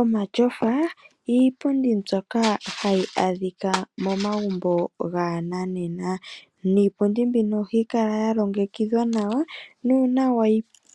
Omatyofa iipundi mbyoka hayi adhika momagumbo gaananena. Niipundi mbino ohayi kala ya longekidhwa nawa nuuna wa